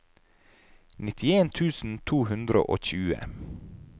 nittien tusen to hundre og tjue